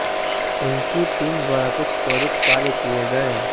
उनकी टीम द्वारा कुछ त्वरित कार्य किये गए